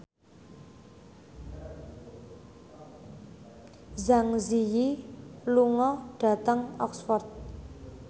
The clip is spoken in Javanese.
Zang Zi Yi lunga dhateng Oxford